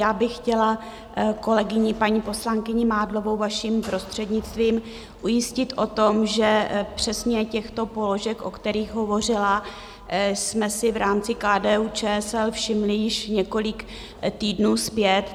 Já bych chtěla kolegyni, paní poslankyni Mádlovou vaším prostřednictvím ujistit o tom, že přesně těchto položek, o kterých hovořila, jsme si v rámci KDU-ČSL všimli již několik týdnů zpět.